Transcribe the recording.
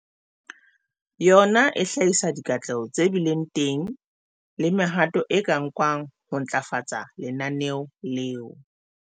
Yona e hlahisa dikatleho tse bileng teng le mehato e ka nkwang ho ntlafatsa lenaneo leo.